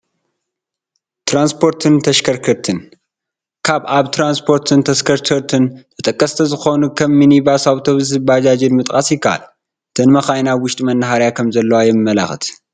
ትራንስፖርትን ተሽከርከርትን፡- ካብ ኣብ ትራንስፖርትን ተሽከርከርትን ተጠቀስቲ ዝኾኑ ከም ሚኒባስ፣ ኣውቶቡስን ባጃጅን ምጥቃስ ይካኣል፡፡ እተን መካይን ኣብ ውሽጢ መናሃርያ ከመዘለዋ የመልክት፡፡